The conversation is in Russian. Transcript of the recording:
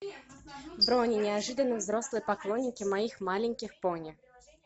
брони неожиданно взрослые поклонники моих маленьких пони